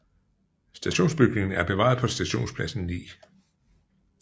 Stationsbygningen er bevaret på Stationspladsen 9